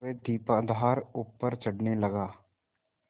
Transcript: वह दीपाधार ऊपर चढ़ने लगा